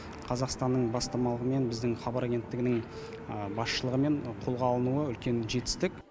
қазақстанның бастамалығымен біздің хабар агенттігінің басшылығымен қолға алынуы үлкен жетістік